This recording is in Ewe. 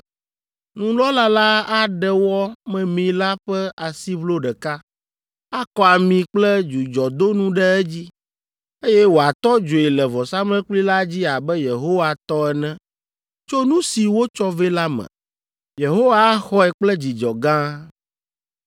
Nunɔla la aɖe wɔ memee la ƒe asiʋlo ɖeka, akɔ ami kple dzudzɔdonu ɖe edzi, eye wòatɔ dzoe le vɔsamlekpui la dzi abe Yehowa tɔ ene tso nu si wotsɔ vɛ la me. Yehowa axɔe kple dzidzɔ gã.